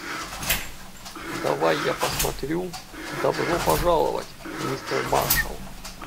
давай я посмотрю добро пожаловать мистер маршалл